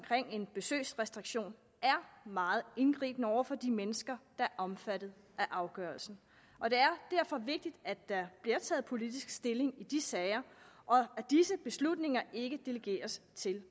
en besøgsrestriktion er meget indgribende over for de mennesker der er omfattet af afgørelsen og det er derfor vigtigt at der bliver taget politisk stilling i de sager og at disse beslutninger ikke delegeres til